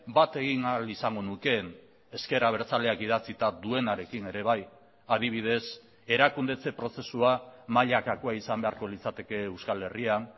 bat egin ahal izango nukeen ezker abertzaleak idatzita duenarekin ere bai adibidez erakundetze prozesua mailakakoa izan beharko litzateke euskal herrian